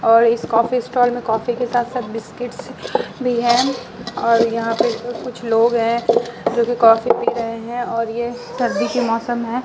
और इस coffee stall में कॉफी के साथ-साथ बिस्किट्स भी हैं और यहां पे कुछ लोग हैं जोकि कॉफी पी रहे हैं और ये ठंडी की मौसम है।